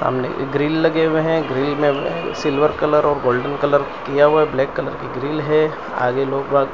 सामने ये ग्रिल लगे हुए हैं। ग्रिल में ये सिल्वर कलर और गोल्डन कलर किया हुवा है। ब्लॅक कलर की ग्रिल हैं। आगे लोग वहां